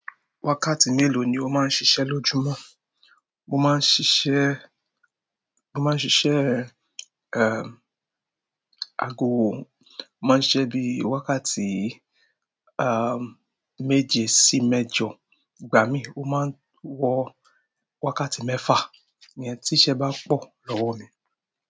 Wákàtí mélòó ni o máa ń ṣiṣẹ́ lójúmọ́? Mo máa ń ṣiṣẹ́, mo máa ń ṣiṣẹ́, ago, máa ń ṣiṣẹ́ bí i wákàtí, méje sí méjọ. Ìgbà mií, mo máa ń wọ wákàtí mẹ́fà, íyẹn tí'ṣẹ́ bá pọ̀ lọ́wọ́ mi.